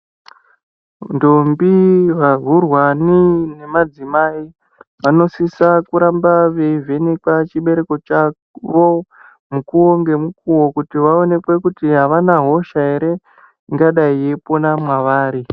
Ndombi, vaurwani nemadzimai vanosisa kuramba veyivhekwa chibereko chavo mukuonge mukuwo kuti vaonekwe kuti avanahosha ere ingadai eyipona mwavari.